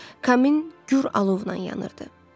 Kamin gur alovu ilə yanırdı.